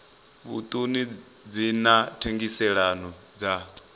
vhuṱun ḓi na thengiselonn ḓa